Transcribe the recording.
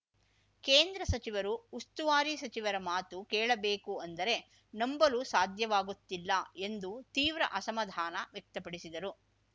ಕೇಂದ್ರ ಸಚಿವರು ಉಸ್ತುವಾರಿ ಸಚಿವರ ಮಾತು ಕೇಳಬೇಕು ಅಂದರೆ ನಂಬಲು ಸಾಧ್ಯವಾಗುತ್ತಿಲ್ಲ ಎಂದು ತೀವ್ರ ಅಸಮಾಧಾನ ವ್ಯಕ್ತಪಡಿಸಿದರು